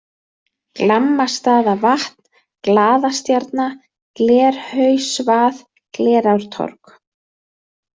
Glammastaðavatn, Glaðastjarna, Glerhausvað, Glerártorg